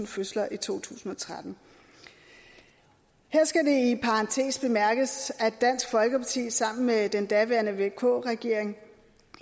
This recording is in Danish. fødsler i to tusind og tretten her skal det i parentes bemærkes at dansk folkeparti sammen med den daværende vk regering